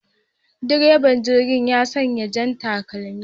Direban jirgi ya sanya jan takalmi